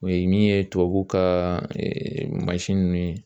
O ye min ye tubabuw ka mansin ninnu ye